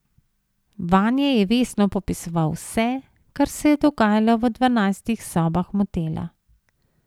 Vanje je vestno popisoval vse, kar se je dogajalo v dvanajstih sobah motela.